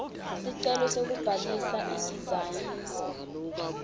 sicelo sekubhalisa idizayini